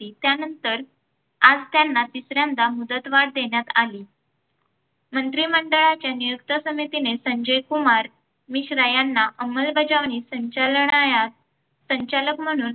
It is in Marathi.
त्यानंतर आज त्यांना तिसऱ्यांदा मुदतवाढ देण्यात आली. मंत्रिमंडळाच्या नियुक्त समितीने संजयकुमार मिश्रा यांना अंमलबजावणी संचालयानास संचालक म्हणून